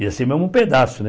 Ia ser o mesmo pedaço, né?